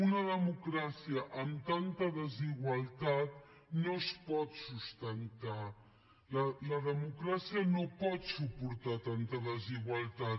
una democràcia amb tanta desigualtat no es pot sustentar la democràcia no pot suportar tanta desigualtat